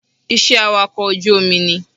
Iṣẹ́ awakọ̀ ojú omi ni